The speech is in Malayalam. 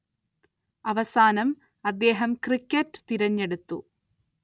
അവസാനം അദ്ദേഹം ക്രിക്കറ്റ് തിരെഞ്ഞെടുത്തു.